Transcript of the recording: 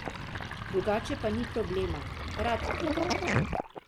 Drugače pa ni problema, rad pridem.